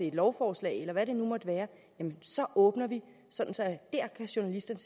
et lovforslag eller hvad det nu måtte være åbner sådan at journalisterne